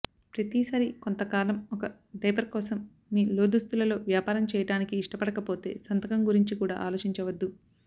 ప్రతిసారీ కొంతకాలం ఒక డైపర్ కోసం మీ లోదుస్తులలో వ్యాపారం చేయటానికి ఇష్టపడకపోతే సంతకం గురించి కూడా ఆలోచించవద్దు